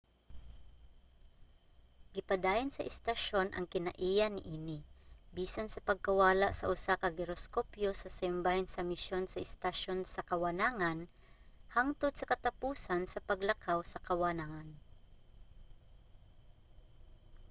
gipadayon sa istasyon ang kinaiya niini bisan sa pagkawala sa usa ka giroskopyo sa sayong bahin sa misyon sa estasyon sa kawanangan hangtod sa katapusan sa paglakaw sa kawanangan